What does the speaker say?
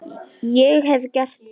Ég hef gert það.